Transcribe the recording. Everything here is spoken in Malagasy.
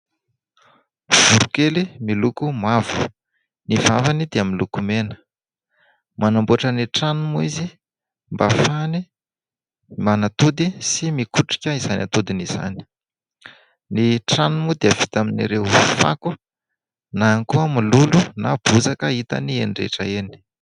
Voronkely miloko mavo. Ny vavany dia miloko mena. Manamboatra ny tranony moa izy mba hahafahany manatody sy mikotrika izany atodiny izany. Ny tranony moa dia vita amin'ireo fako, na ihany koa mololo, na bozaka hitany eny rehetra eny.